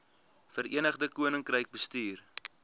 verenigde koninkryk bestuur